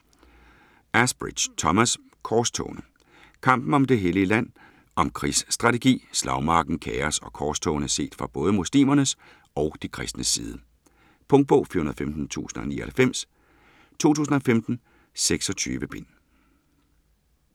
Asbridge, Thomas: Korstogene Kampen om det hellige land. Om krigsstrategi, slagmarken, kaos og korstogene set fra både muslimernes og de kristnes side. Punktbog 415099 2015. 26 bind.